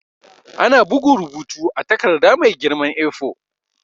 Ana bugun rubutu a takarda mai girman A4.